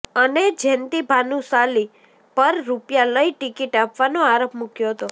અને જેન્તી ભાનુશાલી પર રૂપિયા લઇ ટિકિટ આપવાનો આરોપ મૂકયો હતો